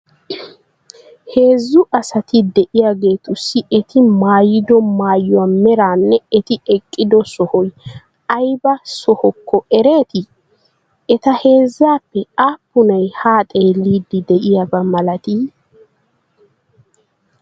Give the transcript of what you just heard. Heezzu asati de'iyageetussi eti maayido maayuwa meraanne eti eqqido sohoy ayba sohokko ereetii? Eta heezzaappe aappunay haa xeelliiddi de'iyaba malatii?